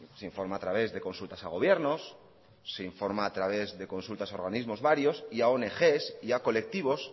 se informa a través de consultas a gobiernos se informa a través de consultas a organismos varios y a ongs y a colectivos